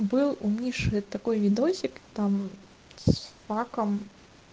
был у миши такой видосик там с факом